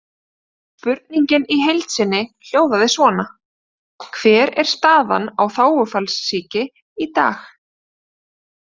Spurningin í heild sinni hljóðaði svona: Hver er staðan á þágufallssýki í dag?